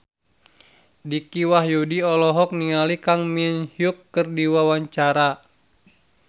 Dicky Wahyudi olohok ningali Kang Min Hyuk keur diwawancara